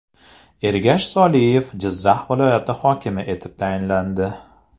Ergash Soliyev Jizzax viloyati hokimi etib tayinlandi.